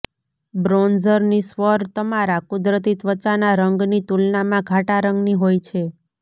બ્રોન્ઝરની સ્વર તમારા કુદરતી ત્વચાના રંગની તુલનામાં ઘાટા રંગના હોય છે